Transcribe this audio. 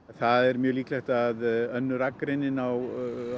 það er mjög líklegt að önnur akreinin á